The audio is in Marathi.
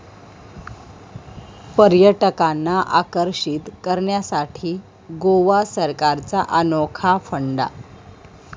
पर्यटकांना आकर्षित करण्यासाठी गोवा सरकारचा अनोखा फंडा